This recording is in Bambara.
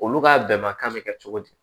Olu ka bɛnbakan bɛ kɛ cogo di